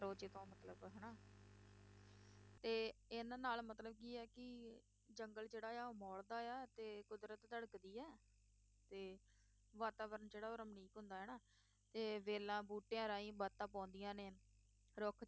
ਤੇ ਇਨ੍ਹਾਂ ਨਾਲ ਮਤਲਬ ਕੀ ਆ ਕਿ ਜੰਗਲ ਜਿਹੜਾ ਆ ਉਹ ਮੌਲਦਾ ਹੈ, ਤੇ ਕੁਦਰਤ ਧੜਕਦੀ ਹੈ, ਤੇ ਵਾਤਾਵਰਣ ਜਿਹੜਾ ਉਹ ਰਮਣੀਕ ਹੁੰਦਾ ਹੈ ਨਾ, ਤੇ ਵੇਲਾਂ, ਬੂਟਿਆਂ ਰਾਹੀਂ ਬਾਤਾਂ ਪਾਉਂਦੀਆਂ ਨੇ, ਰੁੱਖ